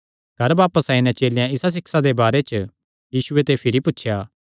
घर बापस आई नैं चेलेयां इसा सिक्षा दे बारे च यीशु ते भिरी पुछया